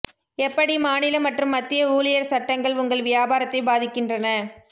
எப்படி மாநில மற்றும் மத்திய ஊழியர் சட்டங்கள் உங்கள் வியாபாரத்தை பாதிக்கின்றன